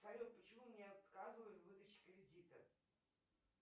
салют почему мне отказывают в выдаче кредита